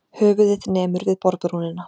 Höfuðið nemur við borðbrúnina.